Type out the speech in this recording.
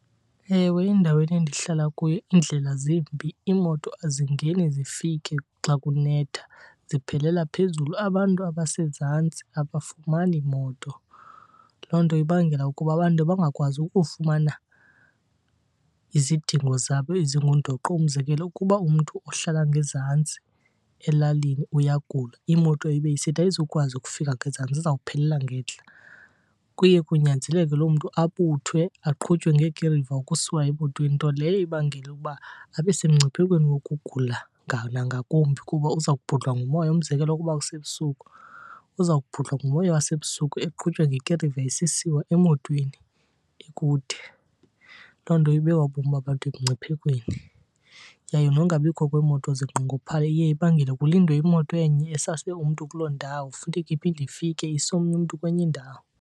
Ewe, endaweni endihlala kuyo iindlela zimbi, iimoto azingeni zifike xa kunetha ziphelela phezulu. Abantu abasezantsi abafumani moto. Loo nto ibangela ukuba abantu bangakwazi ukufumana izidingo zabo ezingundoqo. Umzekelo, ukuba umntu uhlala ngezantsi elalini uyagula imoto ibe isithi ayizukwazi ukufika ngezantsi izawuphelela ngentla, kuye kunyanzeleke loo mntu abuthwe aqhutywe ngeekiriva ukusiwa emotweni. Nto leyo ibangela ukuba abe semngciphekweni wokugula nangakumbi kuba uza kubhudlwa ngumoya. Umzekelo, ukuba kusebusuku uza kubhudlwa ngumoya wasebusuku eqhutywa ngekiriva esisiwa emotweni ekude. Loo nto ibeka ubomi babantu emngciphekweni. Yaye nokungabikho kweemoto zinqongophale iye ibangele kulindwe imoto enye esase umntu kuloo ndawo funeke iphinde ifike ise omnye umntu kwenye indawo.